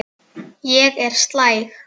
Ég er slæg.